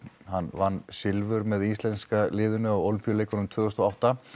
hann vann silfur með íslenska liðinu á ólympíuleikunum tvö þúsund og átta